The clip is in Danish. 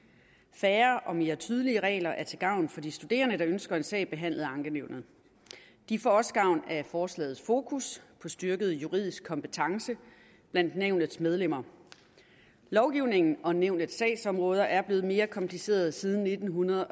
færre og mere tydelige regler er til gavn for de studerende der ønsker en sag behandlet af ankenævnet de får også gavn af forslagets fokus på styrket juridisk kompetence blandt nævnets medlemmer lovgivningen og nævnets sagsområder er blevet mere komplicerede siden nitten